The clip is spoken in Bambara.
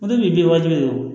Ne bi bin waati min don